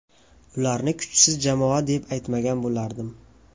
Ularni kuchsiz jamoa deb aytmagan bo‘lardim.